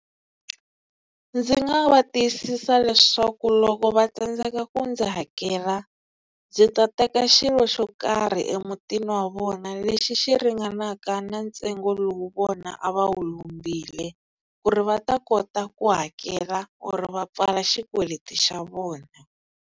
Ndzi nga va tiyisisa leswaku loko va tsandzeka ku ndzi hakela ndzi ta teka xilo xo karhi emutini wa vona lexi xi ringanaka na ntsengo lowu vona a va wu lombile ku ri va ta kota ku hakela ku ri va pfala xikweleti xa vona.